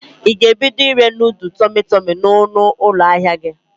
Ị ga-ebido ire nodul tọmị tọmị n'ọnụ ụlọ ahịa gi?